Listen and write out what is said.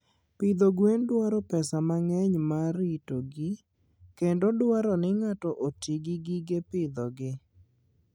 Pidho gwen dwaro pesa mang'eny mar ritogi, kendo dwaro ni ng'ato oti gi gige pidhogi.